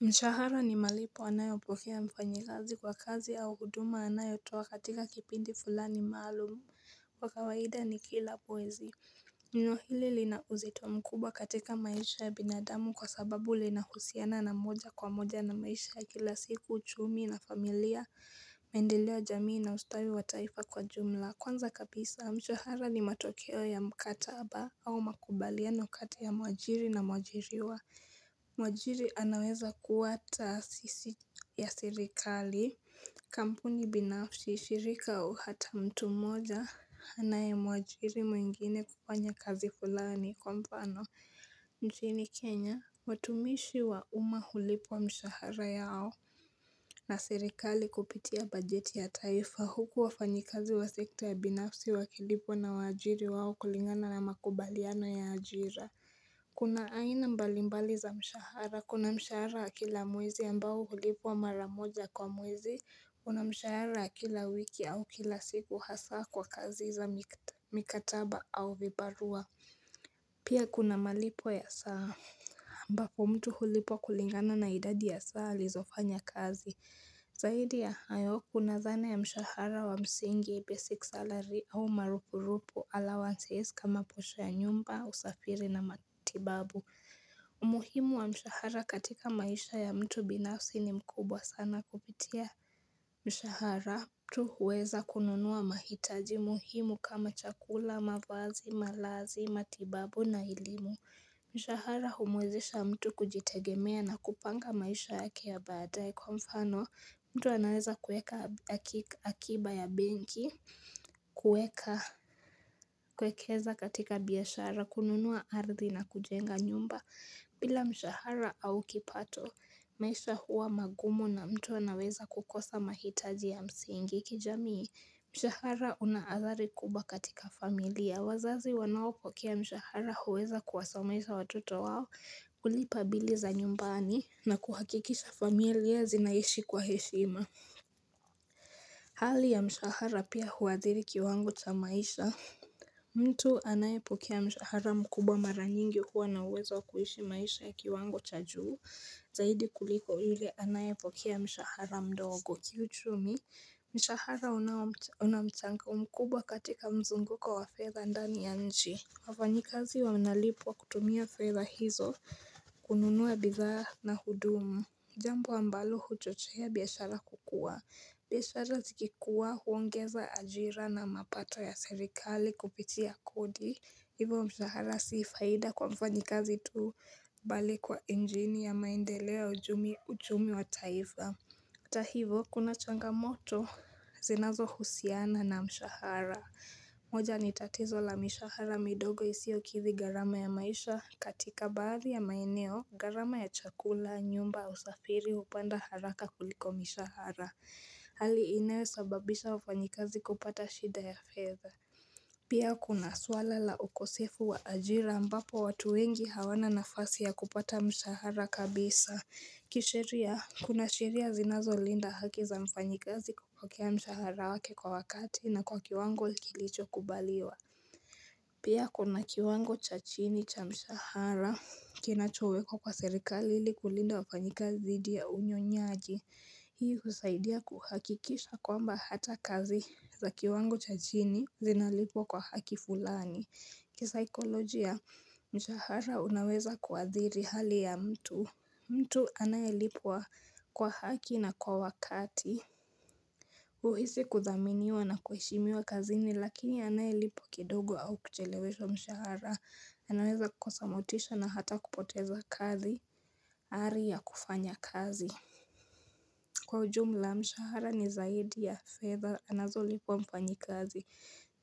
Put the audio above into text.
Mshahara ni malipo anayopokea mfanyakazi kwa kazi au huduma anayotoa katika kipindi fulani maalum. Kwa kawaida ni kila mwezi. Na hili lina uzito mkubwa katika maisha ya binadamu kwasababu linahusiana wa moja kwa moja na maisha ya kila siku, uchumi na familia, maendeleo ya jamii na ustawi wa taifa kwa ujumla. Kwanza kabisa, mshahara ni matokeo ya mkataba au makubaliano kati ya mwajiri na mwajiriwa. Mwajiri anaweza kuwa taasisi ya serikali, kampuni binafsi, shirika au hata mtu mmoja Anayemwajiri mwingine kufanya kazi fulani. Kwamfano, nchini Kenya, watumishi wa umma hulipwa mshahara yao na serikali kupitia bajeti ya taifa, huku wafanyakazi wa sekta ya binafsi wakilipwa na waajiri wao kulingana na makubaliano ya ajira Kuna aina mbalimbali za mshahara, kuna mshahara wa kila mwezi ambao hulipwa maramoja kwa mwezi, kuna mshahara wa kila wiki au kila siku hasa kwa kazi za mikataba au vibarua Pia kuna malipo ya saa ambapo mtu hulipwa kulingana na idadi ya saa alizofanya kazi Zaidi ya hayo kuna dhana ya mshahara wa msingi 'basic salary' au marupurupu, 'allowancies' kama posha ya nyumba, usafiri na matibabu umuhimu wa mshahara katika maisha ya mtu binafsi ni mkubwa sana. Kupitia mshahara mtu huweza kununua mahitaji muhimu kama chakula, mavazi, malazi, matibabu na elimu Mshahara humuwezesha mtu kujitegemea na kupanga maisha yake ya baadae, kwamfano mtu anaweza kuweka akiba ya benki kuwekeza katika biashara, kununua ardhi na kujenga nyumba bila mshahara au kipato maisha huwa magumu na mtu anaweza kukosa mahitaji ya msingi kijamii. Mshahara una athari kubwa katika familia. Wazazi wanaopokea mshahara huweza kuwasomesha watoto wao, kulipa bili za nyumbani na kuhakikisha familia zinaishi kwa heshima. Hali ya mshahara pia huathiri kiwango cha maisha. Mtu anayepokea mshahara mkubwa mara nyingi huwa na uwezo wa kuishi maisha ya kiwango cha juu zaidi kuliko yule anayepokea mshahara mdogo kiuchumi Mshahara una mchango mkubwa katika mzunguko wa fedha ndani ya nchi. Wafanyakazi wanalipwa kutumia fedha hizo kununua bidhaa na huduma, jambo ambalo huchochea biashara kukua. Biashara zikikua huongeza ajira na mapato ya serikali kupitia kodi. Hivyo mshahara si faida kwa mfanyakazi tu. Bali kwa injini ya maendeleo, uchumi wa taifa. Hata hivo, kuna changamoto zinazohusiana na mshahara. Moja ni tatizo la mishahara midogo isiyokidhi gharama ya maisha katika baadhi ya maeneo. Gharama ya chakula, nyumba, usafiri hupanda haraka kuliko mishahara Hali inayosababisha wafanyakazi kupata shida ya fedha Pia kuna swala la ukosefu wa ajira ambapo watu wengi hawana nafasi ya kupata mshahara kabisa. Kisheria, kuna sheria zinazolinda haki za mfanyakazi kupokea mshahara wake kwa wakati na kwa kiwango kilichokubaliwa Pia kuna kiwango cha chini cha mshahara kinachowekwa kwa serikali ili kulinda wafanyakazi dhidi ya unyonyaji. Hii husaidia kuhakikisha kwamba hata kazi za kiwango cha chini zinalipwa kwa haki fulani. Kisaikolojia mshahara unaweza kuathiri hali ya mtu. Mtu anayelipwa kwa haki na kwa wakati. Huhisi kuthaminiwa na kuheshimiwa kazini lakini anayelipwa kidogo au kucheleweshwa mshahara anaweza kosa motisha na hata kupoteza kazi, ari ya kufanya kazi Kwa ujumla mshahara ni zaidi ya fedha anazolipwa mfanyakazi.